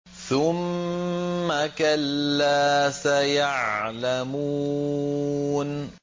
ثُمَّ كَلَّا سَيَعْلَمُونَ